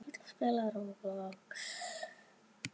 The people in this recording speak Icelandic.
Vantaði græjur?